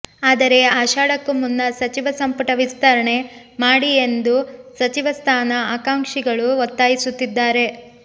ಆದರೆ ಆಷಾಡಕ್ಕೂ ಮುನ್ನ ಸಚಿವ ಸಂಪುಟ ವಿಸ್ತರಣೆ ಮಾಡಿ ಎಂದು ಸಚಿವ ಸ್ಥಾನ ಆಕಾಂಕ್ಷಿಗಳು ಒತ್ತಾಯಿಸುತ್ತಿದ್ದಾರೆ